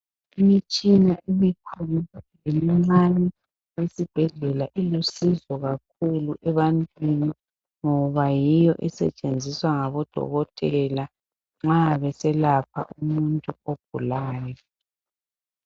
Imitshina emikhulu lemincane esibhedlela ilusizo kakhulu ebantwini ngoba yiyo esetshenziswa ngabodokotela nxa beselapha umuntu ogulayo.